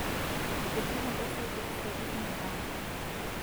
etii embaisikil siedi emilang'o